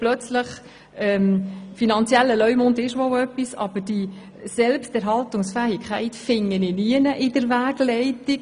Der «finanzielle Leumund» ist zwar etwas, aber die «Selbsterhaltungsfähigkeit» finde ich nirgends in der Wegleitung.